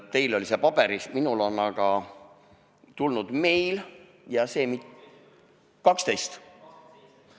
Teil oli see paberil, minule on aga tulnud meil ... 12?